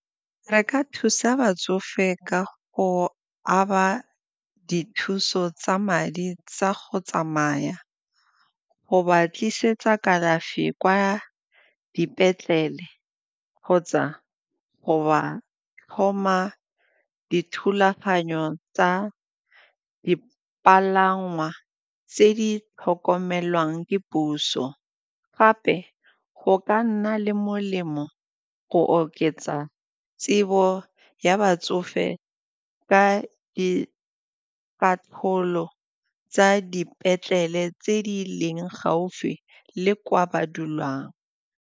Re ka thusa batsofe ka go aba dithuso tsa madi tsa go tsamaya, go ba tlisetsa kalafi kwa dipetlele kgotsa go ba thoma dithulaganyo tsa dipalangwa tse di tlhokomelang ke puso gape go ka nna le molemo go oketsa tsebo ya batsofe ka dikarolo tsa dipetlele tse di leng gaufi le kwa ba dulang.